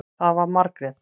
Það var Margrét.